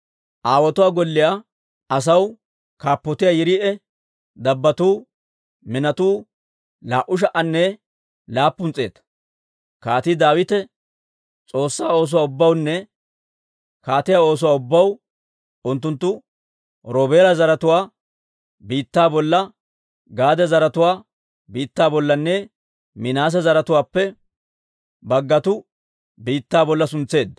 Aawotuwaa golliyaa asaw kaappotiyaa Yiriiya dabbotuu minotuu laa"u sha"anne laappun s'eeta. Kaatii Daawite S'oossaa oosuwaa ubbawunne kaatiyaa oosuwaa ubbaw unttunttu Roobeela zaratuwaa biittaa bolla, Gaade zaratuwaa biittaa bollanne Minaase zaratuwaappe baggatuu biittaa bolla suntseedda.